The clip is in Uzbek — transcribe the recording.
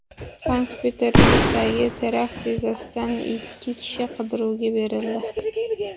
Sankt-Peterburgdagi terakt yuzasidan ikki kishi qidiruvga berildi.